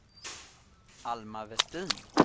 Alma Vestin